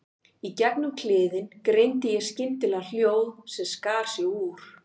Í gegnum kliðinn greindi ég skyndilega hljóð sem skar sig úr.